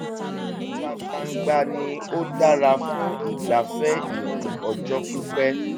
ìta gbangba ni ó dára fún ìgbafẹ́ ìrìn ọjọ́ pípẹ́